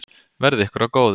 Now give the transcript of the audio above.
Verði ykkur að góðu.